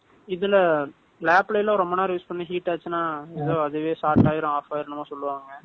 இதுல, lab ல எல்லாம், ரொம்ப நேரம், use பண்ணி, heat ஆச்சுன்னா, எதோ, அதுவே, start ஆயிரும், off ஆயிரும், என்னமோ சொல்லுவாங்க